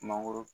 Mangoro